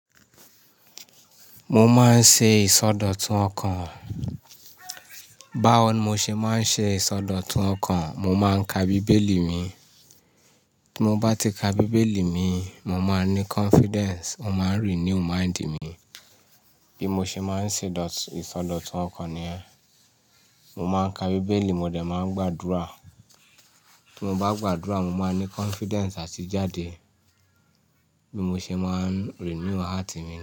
Mo máa ń ṣe ìsọdọ̀tun ọkàn. Báwo mo ṣe máa ń ṣe ìsọdọ̀tun ọkàn, mo máa ń ka Bíbélì mi. Bí mo bá ti ka Bíbélì mi, mo máa ní confidence, ó máa renew mind mi. Bí mo ṣe máa ń ṣe ìsọdọ̀tun ọkàn ni yẹ́n. Mo máa ń ka Bíbélì, mo dẹ̀ máa ń gbàdúrà. Tí mo bá gbàdúrà, mo máa n ní confidence àti jáde. Bí mo ṣe máa ń renew heart mi ni.